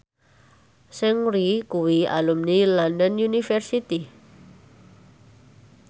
Seungri kuwi alumni London University